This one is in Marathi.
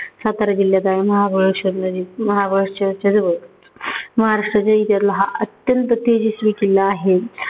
सातारा जिल्ह्यात आहे. महाबळेश्वरनजीक महाबळेश्वरच्या जवळ महाराष्ट्राच्या इतिहासातला हा अत्यंत तेजस्वी किल्ला आहे.